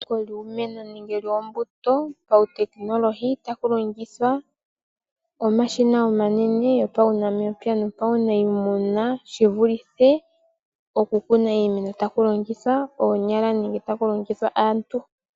Etsiko lyiimeno nenge lyoombuto pautekinolohi, taku longithwa omashina omanene gopaunamapya nuuniimuna, shi vulithe oku kuna iimeno taku longithwa ooonyala nenge taku longithwa aantu.